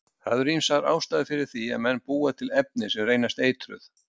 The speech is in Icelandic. Það eru ýmsar ástæður fyrir því að menn búa til efni sem reynast eitruð.